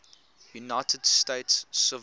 united states civil